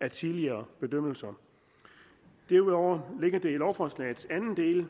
af tidligere bedømmelser derudover ligger det i lovforslagets anden del